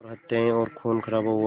पर हत्याएं और ख़ूनख़राबा हुआ